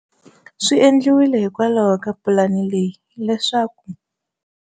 Swi endliwile hikwalaho ka pulani leyi leswaku